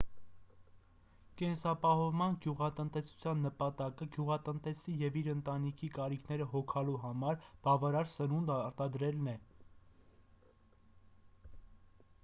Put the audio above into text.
կենսապահովման գյուղատնտեսության նպատակը գյուղատնտեսի և իր ընտանիքի կարիքները հոգալու համար բավարար սնունդ արտադրելն է